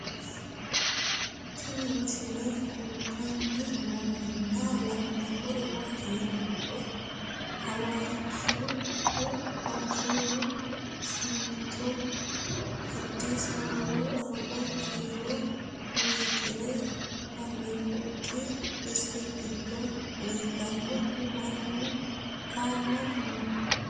Tinni misile kulittanni noorrinna la'nanniri maattiya yinummoro hawashshu simintto addisi ababbu 40 kiillo meetire fabirikkaatti isi gido leellannohu mannu haammattu noo